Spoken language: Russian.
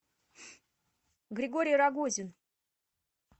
григорий рогозин